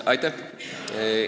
Aitäh!